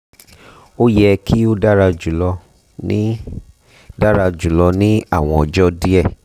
o yẹ ki o dara julọ ni dara julọ ni awọn ọjọ diẹ